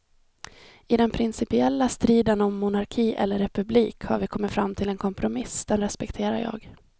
I den principiella striden om monarki eller republik har vi kommit fram till en kompromiss, den respekterar jag.